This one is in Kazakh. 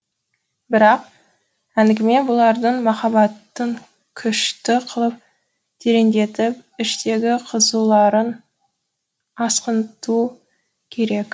бірақ әңгіме бұлардың махаббатын күшті қылып тереңдетіп іштегі қызуларын асқынту керек